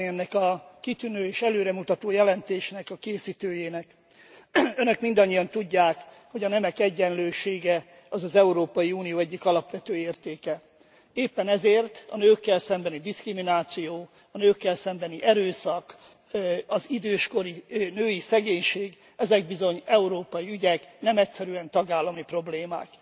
Mindenekelőtt szeretnék köszönetet mondani ennek a kitűnő és előremutató jelentésnek a készítőjének. Önök mindannyian tudják, hogy a nemek egyenlősége az az Európai Unió egyik alapvető értéke. Éppen ezért a nőkkel szembeni diszkrimináció, a nőkkel szembeni erőszak, az időskori női szegénység, ezek bizony európai ügyek, nem egyszerűen tagállami problémák.